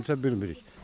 Nə problemdirsə bilmirik.